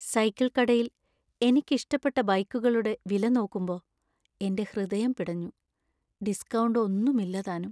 Cycle കടയിൽ എനിക്കിഷ്ടപ്പെട്ട ബൈക്കുകളുടെ വില നോക്കുമ്പോ എന്‍റെ ഹൃദയം പിടഞ്ഞു. ഡിസ്കൌണ്ട് ഒന്നുമില്ലതാനും.